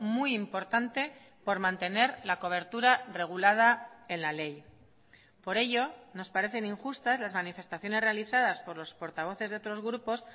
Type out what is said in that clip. muy importante por mantener la cobertura regulada en la ley por ello nos parecen injustas las manifestaciones realizadas por los portavoces de otros grupos